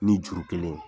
Ni juru kelen